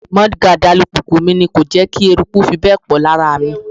Mudguard alùpùpù mi ni kò jẹ́ kí eruku fi bẹ́ẹ̀ pọ̀ lára mi.